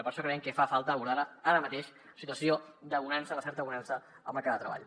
i per això creiem que fa falta abordar la ara mateix en situació de bonança o de certa bonança al mercat de treball